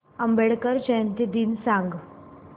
आंबेडकर जयंती दिन सांग